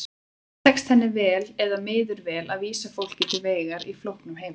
Tekst henni vel eða miður vel að vísa fólki til vegar í flóknum heimi?